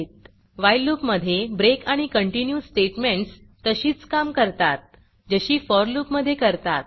while loopवाइल loop मधे break आणि कंटिन्यू स्टेटमेंटस तशीच काम करतात जशी फोर loopफॉर लूप मधे करतात